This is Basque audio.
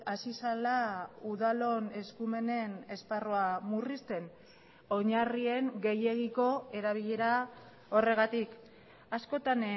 hasi zela udalon eskumenen esparrua murrizten oinarrien gehiegiko erabilera horregatik askotan